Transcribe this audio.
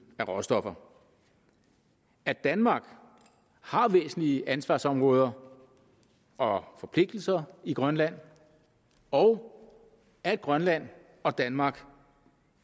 af råstoffer at danmark har væsentlige ansvarsområder og forpligtelser i grønland og at grønland og danmark